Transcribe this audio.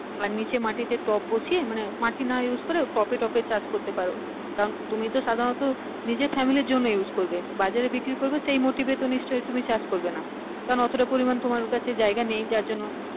আর নিচে মাটি তে টব বসিয়ে মানে মাটি না use করে টব এ টব এ চাষ করতে পারো কারণ তুমি তো সাধারণত নিজের family এর জন্যে use করবে বাজারে বিক্রি করবে সেই motivate এ নিশ্চয় তুমি চাষ করবে না কারণ অতো টা পরিমান তোমার কাছে জায়গা নেই যার জন্য